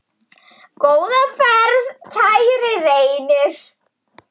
Góða ferð, kæri Reynir.